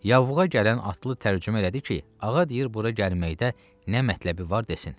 Yanlığa gələn atlı tərcümə elədi ki, ağa deyir bura gəlməkdə nə mətləbi var desin.